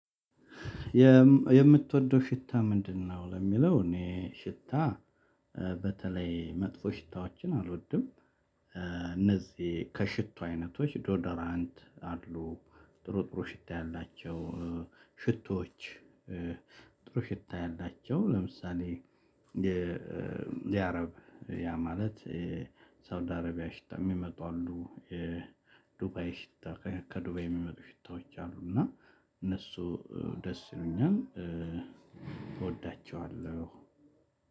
የምትወደው ሽታ ምንድነው? ለሚለው እኔ ሽታ በተለይ መጥፎ ሽታዎችን አልወድም። እነዚህ ከሽቶ አይነቶች ዶዶራንት አሉ ጥሩ ጥሩ ሽታ ያላቸው ሽቶዎች። ጥሩ ሽታ ያላቸው ለምሳሌ የአረብ ያ ማለት ሳውዲ አረቢያ ሽታ የሚመጡ አሉ። የዱባይ ሽታ ከዱባይ የሚመጡ ሽታዎች አሉ። እና እነሱ ደስ ይሉኛል እወዳቸዋለሁ።